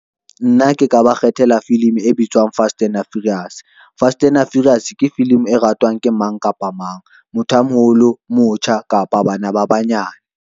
Nna ke ka ba kgethela film e bitswang fast ena furious. Fast ena furious ke film e ratwang ke mang kapa mang, motho a moholo, motjha kapa bana ba banyane.